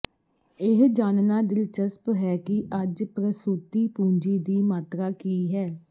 ਇਹ ਜਾਣਨਾ ਦਿਲਚਸਪ ਹੈ ਕਿ ਅੱਜ ਪ੍ਰਸੂਤੀ ਪੂੰਜੀ ਦੀ ਮਾਤਰਾ ਕੀ ਹੈ